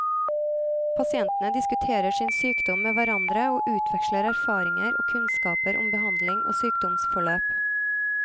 Pasientene diskuterer sin sykdom med hverandre og utveksler erfaringer og kunnskaper om behandling og sykdomsforløp.